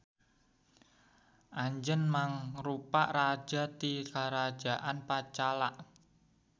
Anjeuna mangrupa raja ti Karajaan Panchala.